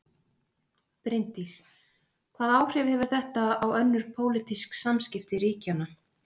Bryndís: Hvaða áhrif hefur þetta á önnur pólitísk samskipti ríkjanna?